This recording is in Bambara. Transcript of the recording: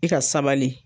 I ka sabali